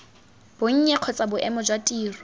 bonnye kgotsa boemo jwa tiro